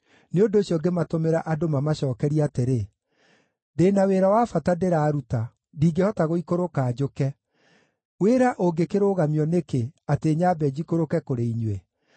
nĩ ũndũ ũcio ngĩmatũmĩra andũ mamacookerie atĩrĩ: “Ndĩ na wĩra wa bata ndĩraruta, ndingĩhota gũikũrũka njũke. Wĩra ũngĩkĩrũgamio nĩkĩ, atĩ nyambe njikũrũke kũrĩ inyuĩ?”